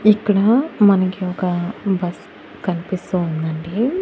ఇక్కడా మనకి ఒక బస్ కన్పిస్తూ ఉండండి.